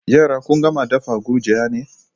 Yara kun gama dafa gurjiya ne?